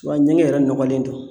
Wa ɲɛŋɛ yɛrɛ nɔgɔlen don.